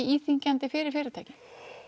íþyngjandi fyrir fyrirtæki